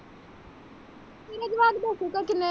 ਮੇਰਾ ਜਵਾਬ ਦੱਸੋ ਤਾਂ ਕਿੰਨੇ।